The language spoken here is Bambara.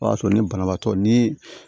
O y'a sɔrɔ ni banabaatɔ ni